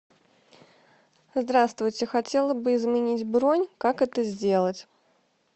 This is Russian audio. здравствуйте хотела бы изменить бронь как это сделать